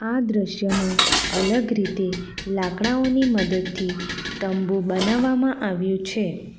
આ દ્રશ્યમાં અલગ રીતે લાકડાઓની મદદથી તંબુ બનાવવામાં આવ્યું છે.